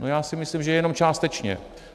No, já si myslím, že jenom částečně.